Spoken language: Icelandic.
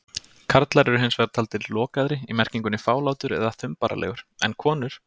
Karlar eru hins vegar taldir lokaðri- í merkingunni fálátur eða þumbaralegur- en konur.